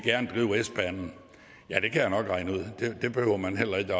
drive s banen ja det kan jeg nok regne ud det behøver man heller ikke